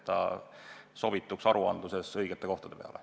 Nii sobitub see aruannetes õigete kohtade peale.